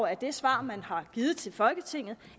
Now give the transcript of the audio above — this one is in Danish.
af det svar man har givet til folketinget